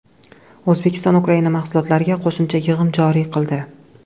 O‘zbekiston Ukraina mahsulotlariga qo‘shimcha yig‘im joriy qildi.